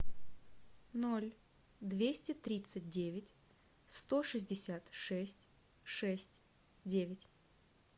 ноль двести тридцать девять сто шестьдесят шесть шесть девять